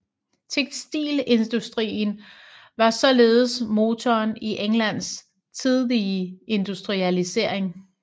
Tekstilindustrien var således motoren i Englands tidlige industrialisering